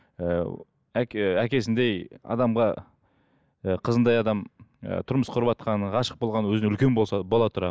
ыыы әке әкесіндей адамға ы қызындай адам ы тұрмыс құрватқаны ғашық болғаны өзінен үлкен болса бола тұра